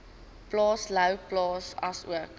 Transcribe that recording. plaas louwplaas asook